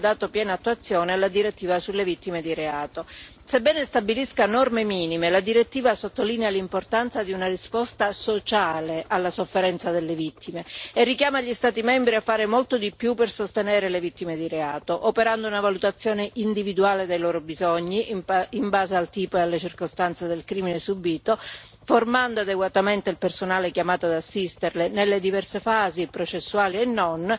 Sebbene stabilisca norme minime, la direttiva sottolinea l'importanza di una risposta sociale alla sofferenza delle vittime, e richiama gli Stati membri a fare molto di più per sostenere le vittime di reato, operando una valutazione individuale dei loro bisogni in base al tipo e alle circostanze del crimine subito, formando adeguatamente il personale chiamato ad assisterle nelle diverse fasi, processuali e non, ed assicurandone tutti i diritti in sede giudiziaria.